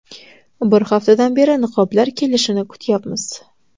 Bir haftadan beri niqoblar kelishini kutyapmiz”.